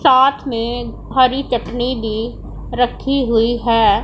साथ में हरी चटनी भी रखी हुई है।